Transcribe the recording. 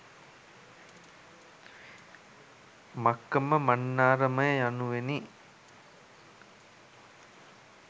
මක්කම මන්නාරම යනුවෙනි.